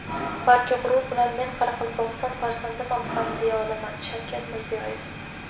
balki g‘urur bilan men Qoraqalpog‘iston farzandiman ham deya olaman – Shavkat Mirziyoyev.